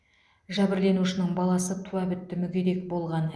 жәбірленушінің баласы туа бітті мүгедек болған